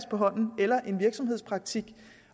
på hånden eller en virksomhedspraktik